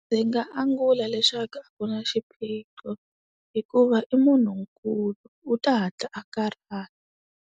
Ndzi nga angula leswaku a ku na xiphiqo. Hikuva i munhunkulu, u ta hatla a karhala.